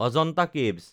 Ajanta caves